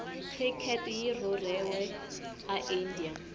cricket yirhurheliwe aindia